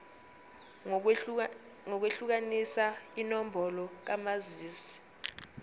ngokwehlukanisa inombolo kamazisi